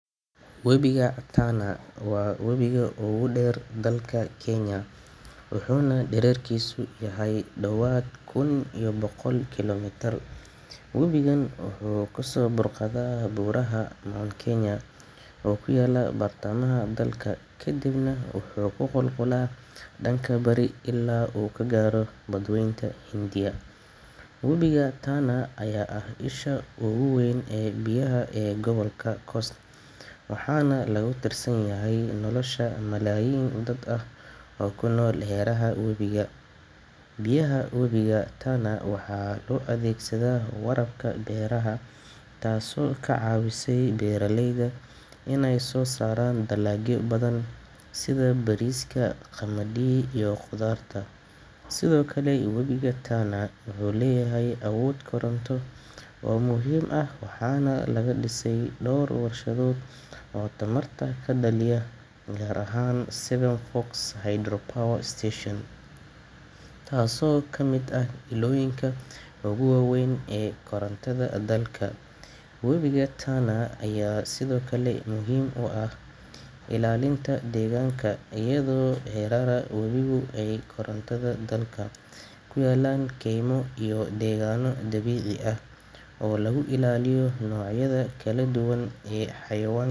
Webiga Tana waa webiga ugu dheer dalka Kenya, wuxuuna dhererkiisu yahay ku dhawaad kun iyo boqol kiiloomitir. Webigan wuxuu ka soo burqadaa buuraha Mount Kenya oo ku yaalla bartamaha dalka, kadibna wuxuu ku qulqulaa dhanka bari ilaa uu ka gaaro badweynta Hindiya. Webiga Tana ayaa ah isha ugu weyn ee biyaha ee gobolka Coast, waxaana lagu tiirsan yahay nolosha malaayiin dad ah oo ku nool hareeraha webiga. Biyaha webiga Tana waxaa loo adeegsadaa waraabka beeraha, taasoo ka caawisa beeraleyda inay soo saaraan dalagyo badan sida bariiska, qamadi, iyo khudaarta. Sidoo kale, webiga Tana wuxuu leeyahay awood koronto oo muhiim ah, waxaana laga dhisay dhowr warshadood oo tamarta ka dhaliya, gaar ahaan Seven Forks Hydro Power Station, taasoo ka mid ah ilooyinka ugu waaweyn ee korontada dalka. Webiga Tana ayaa sidoo kale muhiim u ah ilaalinta deegaanka, iyadoo hareeraha webigu ay ku yaallaan keymo iyo deegaano dabiici ah oo lagu ilaaliyo noocyada kala duwan ee xayawaa.